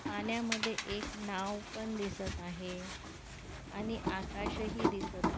पाण्यामध्ये एक नाव पण दिसत आहे आणि आकाश ही दिसत आ--